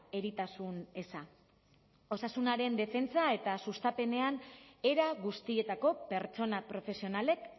eritasun eza osasunaren defentsa eta sustapenean era guztietako pertsona profesionalek